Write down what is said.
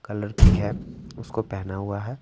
Colour की हैं उसको पहना हुआ हैं।